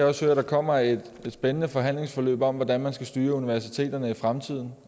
også høre at der kommer et spændende forhandlingsforløb om hvordan man skal styre universiteterne i fremtiden